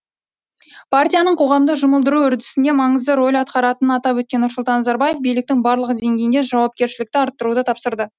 партияның қоғамды жұмылдыру үдерісінде маңызды рөл атқаратынын атап өткен нұрсұлтан назарбаев биліктің барлық деңгейінде жауапкершілікті арттыруды тапсырды